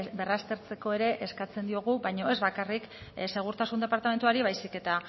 berraztertzeko ere eskatzen diogu baina ez bakarrik segurtasun departamentuari baizik eta